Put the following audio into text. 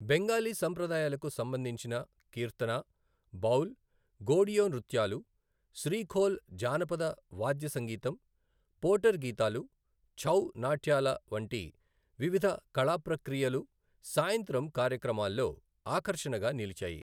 బెంగాలీ సంప్రదాయాలకు సంబంధించిన కీర్తన, బౌల్, గోడియో నృత్యాలు, శ్రీ ఖోల్ జానపద వాద్య సంగీతం, పోటర్ గీతాలు, ఛౌ నాట్యాల వంటి వివిధ కళా ప్రక్రియలు సాయంత్రం కార్యక్రమాల్లో ఆకర్షణగా నిలిచాయి.